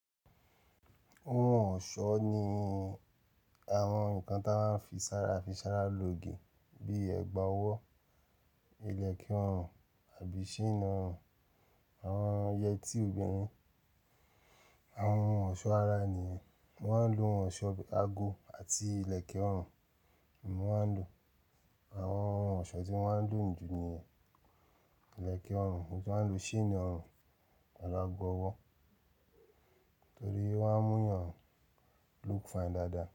Ohun ọ̀ṣọ́ ni àwọn nǹkan tí a máa ń fi sára fi sára lòofe bíi ẹ̀gbà ọwọ́, ilẹ̀kẹ̀ ọrùn àbí chaini ọrùn, àwọn yẹtí obìnrin. Àwọn ohun ọ̀ṣọ́ ara ni wọ́n ń lo ohun ọ̀ṣọ́ ago àti ilẹ̀kẹ̀ ọrùn, oun mo máa ń lo àwọn ohun ọ̀ṣọ́ tí mo ń lò ní ju ni ilẹ̀kẹ̀ ọrùn, mo maa n lo chainì ọrùn àti agọ ọwọ́ torí wọ́n mú eeyàn look fine dáadáa.